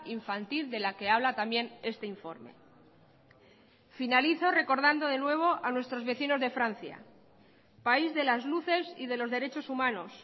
infantil de la que habla también este informe finalizo recordando de nuevo a nuestros vecinos de francia país de las luces y de los derechos humanos